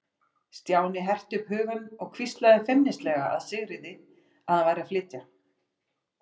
Stjáni herti upp hugann og hvíslaði feimnislega að Sigríði að hann væri að flytja.